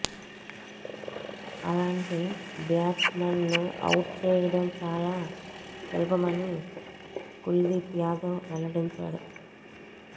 అలాంటి batsman ను out చేయడం చాలా సులభమని కుల్దీప్ యాదవ్ వెల్లడించాడు